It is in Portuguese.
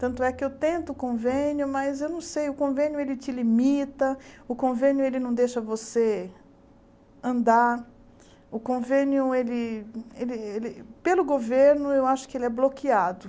Tanto é que eu tento o convênio, mas eu não sei, o convênio ele te limita, o convênio ele não deixa você andar, o convênio, ele ele ele pelo governo, eu acho que ele é bloqueado.